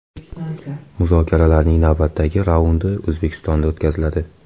Muzokaralarning navbatdagi raundi O‘zbekistonda o‘tkaziladi.